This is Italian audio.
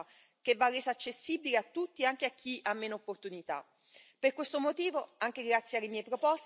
Si tratta di un'opportunità unica di crescita che va resa accessibile a tutti, quindi anche a chi ha meno opportunità.